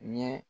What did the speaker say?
Ɲɛ